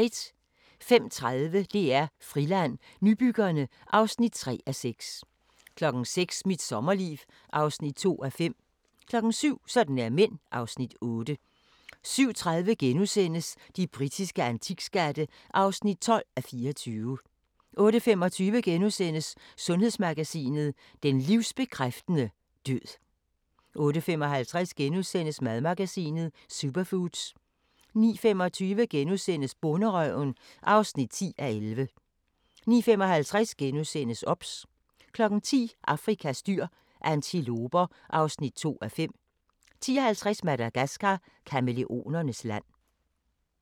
05:30: DR Friland: Nybyggerne (3:6) 06:00: Mit sommerliv (2:5) 07:00: Sådan er mænd (Afs. 8) 07:30: De britiske antikskatte (12:24)* 08:25: Sundhedsmagasinet: Den livsbekræftende død * 08:55: Madmagasinet: Superfoods * 09:25: Bonderøven (10:11)* 09:55: OBS * 10:00: Afrikas dyr – antiloper (2:5) 10:50: Madagascar – kamæleonernes land